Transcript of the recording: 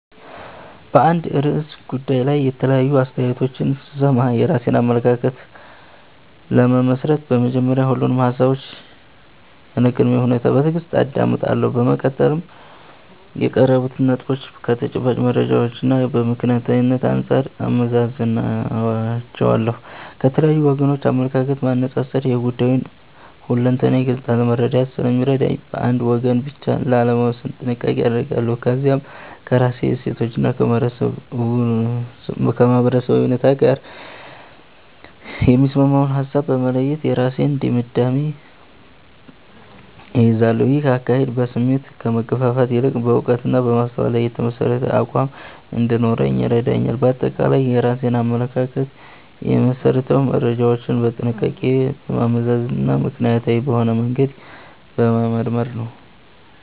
በአንድ ርዕሰ ጉዳይ ላይ የተለያዩ አስተያየቶችን ስሰማ፣ የራሴን አመለካከት ለመመስረት በመጀመሪያ ሁሉንም ሃሳቦች ያለ ቅድመ ሁኔታ በትዕግስት አዳምጣለሁ። በመቀጠል የቀረቡትን ነጥቦች ከተጨባጭ መረጃዎችና ከምክንያታዊነት አንጻር እመዝናቸዋለሁ። የተለያዩ ወገኖችን አመለካከት ማነጻጸር የጉዳዩን ሁለንተናዊ ገጽታ ለመረዳት ስለሚረዳኝ፣ በአንድ ወገን ብቻ ላለመወሰን ጥንቃቄ አደርጋለሁ። ከዚያም ከራሴ እሴቶችና ከማህበረሰባዊ እውነት ጋር የሚስማማውን ሃሳብ በመለየት የራሴን ድምዳሜ እይዛለሁ። ይህ አካሄድ በስሜት ከመገፋፋት ይልቅ በዕውቀትና በማስተዋል ላይ የተመሠረተ አቋም እንዲኖረኝ ይረዳኛል። ባጠቃላይ የራሴን አመለካከት የምመሰርተው መረጃዎችን በጥንቃቄ በማመዛዘንና ምክንያታዊ በሆነ መንገድ በመመርመር ነው።